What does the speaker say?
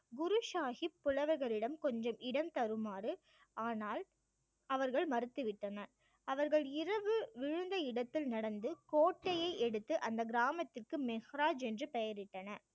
குரு சாஹிப் புலவர்களிடம் கொஞ்சம் இடம் தருமாறு ஆனால் அவர்கள் மறுத்துவிட்டனர். அவர்கள் இரவு விழுந்த இடத்தில் நடந்து கோட்டையை எடுத்து அந்த கிராமத்திற்கு மெஹ்ராஜ் என்று பெயரிட்டனர்.